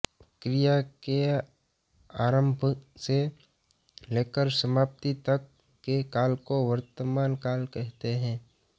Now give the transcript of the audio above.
क्रिया के आरम्भ से लेकर समाप्ति तक के काल को वर्तमान काल कहते हैं